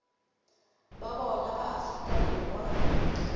ba bona ba afrika borwa